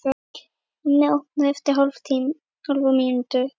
Hemmi opnar eftir hálfa mínútu.